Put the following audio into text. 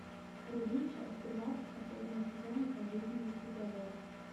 вруби часть тринадцать последнего сезона пожизненный приговор